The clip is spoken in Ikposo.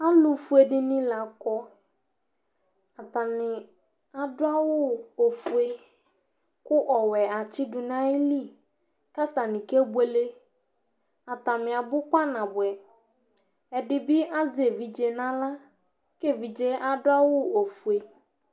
Alʊ fʊé dɩnɩ la kɔ Atanɩ adʊ axʊ ofʊé kʊ ɔwʊɛ atsɩ dʊ nayɩlɩ Ka atanɩ ké bʊélé Atanɩ abʊ kpanabʊɛ Ɛdɩbɩ azɛ évɩdʒé na aɣla Ké éʋɩdzé adʊ ofʊé